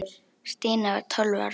Stína var tólf ára.